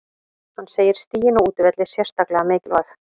Hann segir stigin á útivelli sérstaklega mikilvæg.